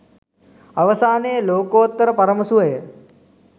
අවසානයේ ලෝකෝත්තර පරම සුවය